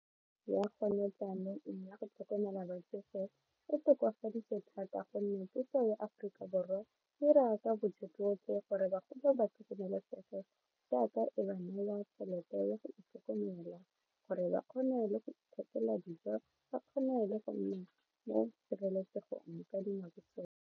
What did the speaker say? Ya ya go tlhokomela batsofe e tokafaditswe thata gonne puso ya Aforika Borwa e 'ira ka bojotlhe gore bagodi ba tlhokomelesege jaaka e ba neela tšhelete ya go itlhokomela gore ba kgone le go ithethela dijo ba kgone le go nna mo tshireletsegong ka dinako tsotlhe.